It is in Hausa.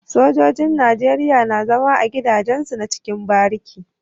Sojojin nigeria na zama a gida jen su na cikin bariki